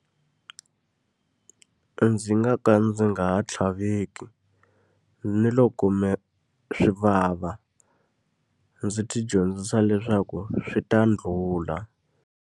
Ndzi nga ka ndzi nga ha tlhaveki, ni loko swi vava. Ndzi tidyondzisa leswaku swi ta ndlhula.